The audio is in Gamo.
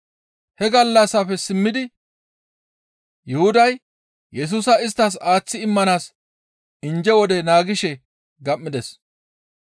He gallassafe simmidi Yuhuday Yesusa isttas aaththi immanaas injje wode naagishe gam7ides.